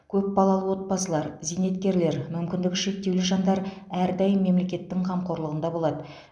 көп балалы отбасылар зейнеткерлер мүмкіндігі шектеулі жандар әрдайым мемлекеттің қамқорлығында болады